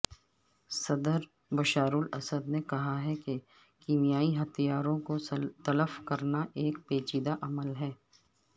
صدر بشارالاسد نے کہا کہ کیمیائی ہتھیاروں کو تلف کرنا ایک پیچیدہ عمل ہے